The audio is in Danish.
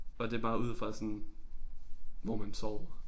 Og det bare ud fra sådan hvor man sover